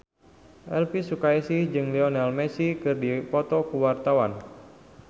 Elvy Sukaesih jeung Lionel Messi keur dipoto ku wartawan